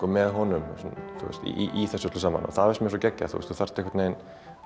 með honum í þessu öllu saman og það finnst mér svo geggjað þú þarft